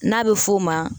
N'a bɛ f'o ma